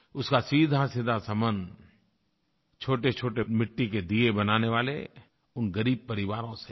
उसका सीधासीधा सम्बन्ध छोटेछोटे मिट्टी के दिये बनाने वाले उन ग़रीब परिवारों से है